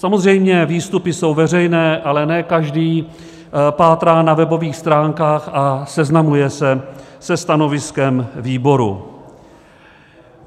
Samozřejmě výstupy jsou veřejné, ale ne každý pátrá na webových stránkách a seznamuje se se stanoviskem výboru.